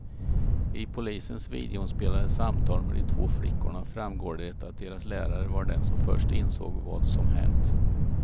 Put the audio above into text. I polisens videoinspelade samtal med de två flickorna framgår det att deras lärare var den som först insåg vad som hänt.